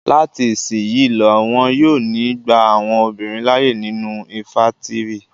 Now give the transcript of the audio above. Lati isisiyi lọ, wọn yo ni gba àwọn obinrin laaye ninu infàntiri